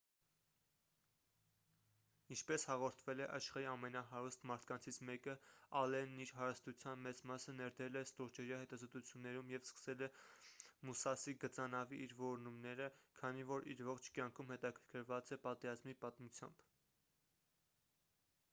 ինչպես հաղորդվել է աշխարհի ամենահարուստ մարդկանցից մեկը ՝ ալենն իր հարստության մեծ մասը ներդրել է ստորջրյա հետազոտություններում և սկսել է «մուսասի» գծանավի իր որոնումները քանի որ իր ողջ կյանքում հետաքրքրված է պատերազմի պատմությամբ: